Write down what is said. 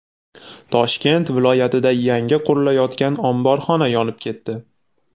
Toshkent viloyatida yangi qurilayotgan omborxona yonib ketdi.